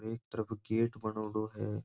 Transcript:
एक तरफ गेट बनोड़ों है।